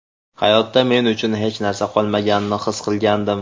Hayotda men uchun hech narsa qolmaganini his qilgandim”.